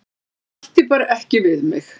Það ætti bara ekki við mig.